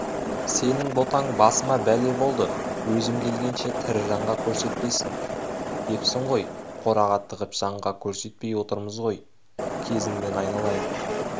сенің ботаң басыма бәле болды өзім келгенше тірі жанға көрсетпесін депсің ғой қораға тығып жанға көрсетпей отырмыз ой кезіңнен айналайын